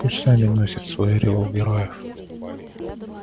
пусть сами носят свой ореол героев